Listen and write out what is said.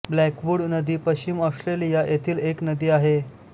Blackwood नदी पश्चिम Australia येथील एक नदी आहे